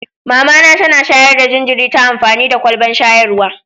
Mama na tana shayar da jinjiri ta amfani da kwalban shayarwa.